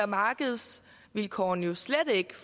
markedsvilkårene slet ikke